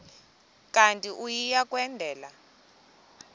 kanti uia kwendela